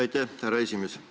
Aitäh, härra esimees!